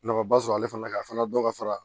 Nafaba sɔrɔ ale fana ka fana dɔ ka fara